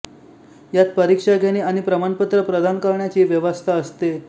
यात परीक्षा घेणे आणि प्रमाण पत्र प्रदान करण्याची व्यवस्था असते